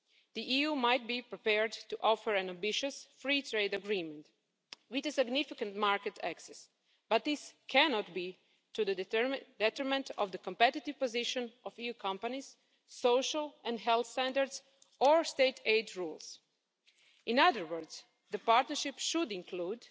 The EU might be prepared to offer an ambitious free trade agreement with significant market access, but this cannot be to the detriment of the competitive position of EU companies, social and health standards, or state aid rules. In other words, the partnership should include